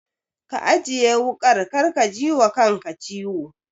Ka ajiye wuƙar kar ka jiwa kanka ciwo.